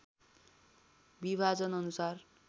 विभाजन अनुसार